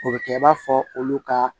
O bɛ kɛ i b'a fɔ olu ka